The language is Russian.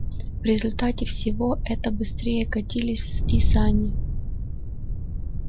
в результате всего это быстрее катились и сани